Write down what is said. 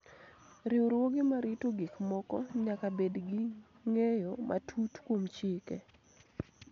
Riwruoge ma rito gik moko nyaka bed gi ng�eyo matut kuom chike